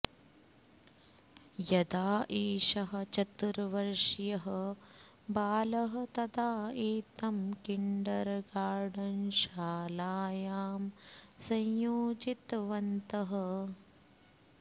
यदा एषः चतुर्वर्षीयः बालः तदा एतं किण्डर् गार्डन् शालायां संयोजितवन्तः